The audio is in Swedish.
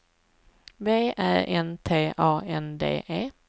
V Ä N T A N D E